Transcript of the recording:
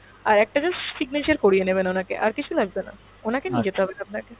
আরএকটা just signature করিয়ে নেবেন ওনাকে, আর কিছু লাগবে না ওনাকে নিয়ে যেতে হবে না আপনাকে।